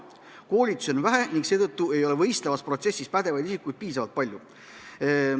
Koolitusi on vähe ning seetõttu ei oleks võistlevas protsessis pädevaid isikuid piisavalt palju.